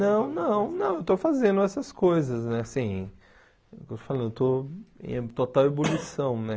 Não, não, não, eu estou fazendo essas coisas, né assim, estou falando estou em total ebulição, né?